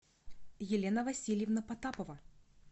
елена васильевна потапова